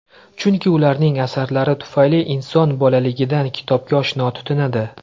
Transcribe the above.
Chunki ularning asarlari tufayli inson bolaligidan kitobga oshno tutinadi.